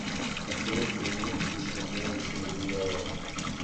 открой дневник изгоняющего дьявола